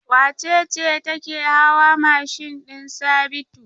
Wace ce take hawa mashin din Sabitu?